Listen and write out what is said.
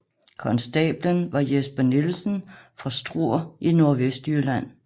Konstablen var Jesper Nielsen fra Struer i Nordvestjylland